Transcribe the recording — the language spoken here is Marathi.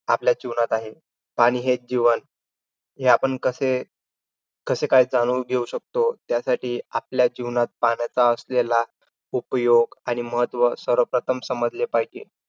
आपल्या जीवनात आहे. पाणी हेच जीवन. हे आपण कसे काय जाऊन घेऊ शकतो? त्यासाठी आपल्या जीवनात पाण्याचा असलेला उपयोग आणि महत्व सर्व प्रथम समजले पाहिजे.